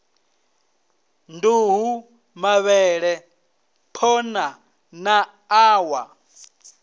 nduhu mavhele phonḓa na ṋawa